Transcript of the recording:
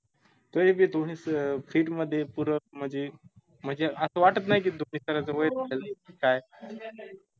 त एक ए fit मध्ये पूर म्हनजी म्हनजे अस वाटत नाई की धोनी काय